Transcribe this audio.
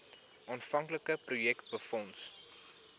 aanvanklike projek befonds